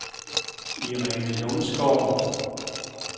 Irene Lundsgaard